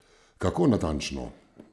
Kako natančno?